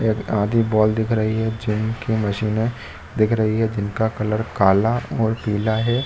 एक आधी बॉल दिख रही है जिम की मशीने दिख रही है जिनका कलर काला और पीला है।